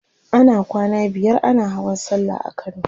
ana kwana biyar ana Hawan sallah a kano